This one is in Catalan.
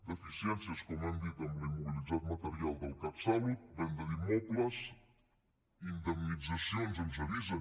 deficiències com hem dit amb l’immobilitzat material del catsalut venda d’immobles indemnitzacions ens avisen